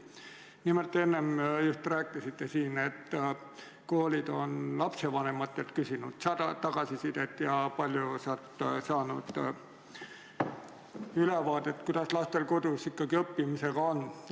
Nimelt, enne te just rääkisite, et koolid on küsinud lapsevanematelt tagasisidet ja paljud ongi saanud ülevaate, kuidas lastel kodus õppimisega lood on.